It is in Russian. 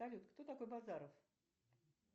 салют кто такой базаров